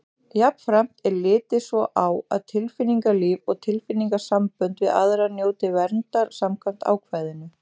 Jafnframt er litið svo á að tilfinningalíf og tilfinningasambönd við aðra njóti verndar samkvæmt ákvæðinu.